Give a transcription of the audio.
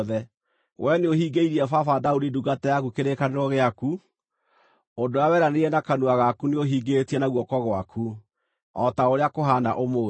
Wee nĩũhingĩirie baba, Daudi ndungata yaku kĩrĩkanĩro gĩaku; ũndũ ũrĩa weranĩire na kanua gaku nĩũhingĩtie na guoko gwaku, o ta ũrĩa kũhaana ũmũthĩ.